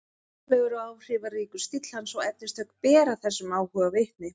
Glæsilegur og áhrifaríkur stíll hans og efnistök bera þessum áhuga vitni.